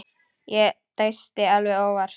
Ég dæsti alveg óvart.